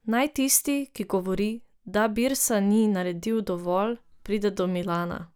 Naj tisti, ki govori, da Birsa ni naredil dovolj, pride do Milana ...